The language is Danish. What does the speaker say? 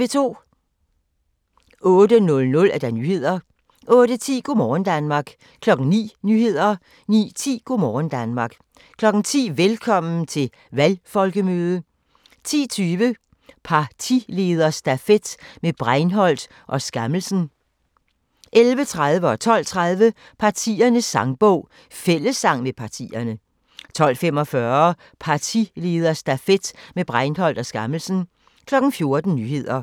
08:00: Nyhederne 08:10: Go' morgen Danmark 09:00: Nyhederne 09:10: Go' morgen Danmark 10:00: Velkommen til valgfolkemøde 10:20: Partilederstafet med Breinholt og Skammelsen 11:30: Partiernes sangbog - fællessang med partierne 12:30: Partiernes sangbog - fællessang med partierne 12:45: Partilederstafet med Breinholt og Skammelsen 14:00: Nyhederne